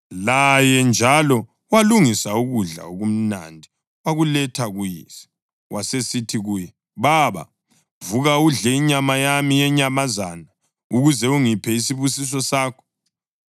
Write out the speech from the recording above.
Laye njalo walungisa ukudla okumnandi wakuletha kuyise. Wasesithi kuye, “Baba, vuka udle inyama yami yenyamazana, ukuze ungiphe isibusiso sakho.”